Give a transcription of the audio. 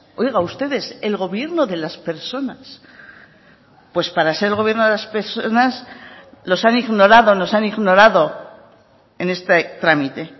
oiga ustedes el gobierno de las personas pues para ser el gobierno de las personas los han ignorado nos han ignorado en este trámite